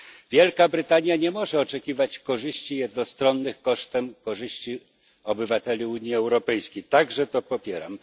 Wielka Brytania nie może oczekiwać korzyści jednostronnych kosztem korzyści obywateli Unii Europejskiej także to popieram.